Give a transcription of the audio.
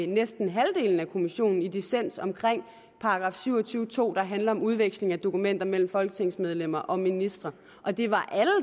næsten halvdelen af kommissionen var i dissens om § syv og tyve nummer to der handler om udveksling af dokumenter mellem folketingsmedlemmer og ministre og det var alle